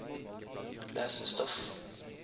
lesestoff